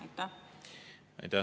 Aitäh!